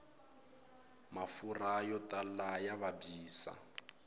mafurha yo tala ya vabyisa